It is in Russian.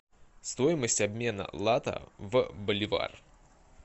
стоимость обмена лата в боливар